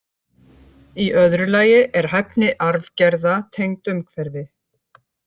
Í öðru lagi er hæfni arfgerða tengd umhverfi.